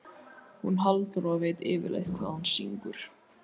Hún Halldóra veit yfirleitt hvað hún syngur.